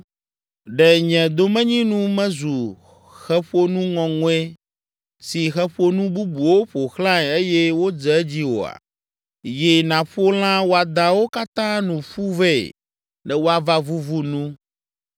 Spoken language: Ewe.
Ɖe nye domenyinu mezu xeƒonu ŋɔŋɔe si xeƒonu bubuwo ƒo xlãe eye wodze edzi oa? Yi nàƒo lã wɔadãwo katã nu ƒu vɛ ne woava vuvu nu.